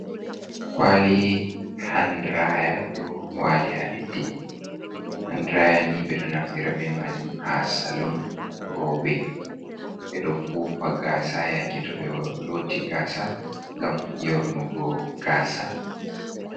Kwali handiraya, ɗo walii ha leddi, handiraya ni ɓeɗoo naftira be majauum ha salum, rewɓe ɓeɗoo fufo gasa yake to ɓe looloti gaasa, gam yornugo gaasa.